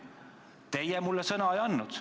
Teie mulle sõna ei andnud.